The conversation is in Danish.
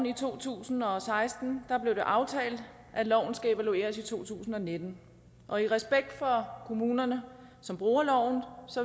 i to tusind og seksten blev det aftalt at loven skulle evalueres i to tusind og nitten og i respekt for kommunerne som bruger loven